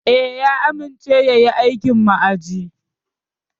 Eh, ya amince yayi aikin ma'aji.